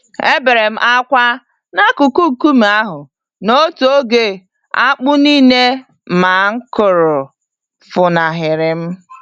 Eberem ákwà n'akụkụ nkume ahụ, n'otu oge akpụ nílé ma kụrụ, funahịrịm